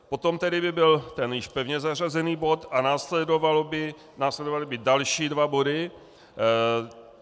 Potom tedy by byl ten již pevně zařazený bod a následovaly by další dva body.